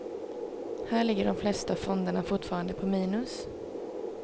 Här ligger de flesta fonderna fortfarande på minus.